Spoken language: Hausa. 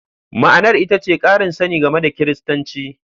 Ma'anar ita ce ƙarin sani game da Kiristanci.